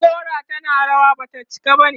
idan gora tana rawa, Bata cika bane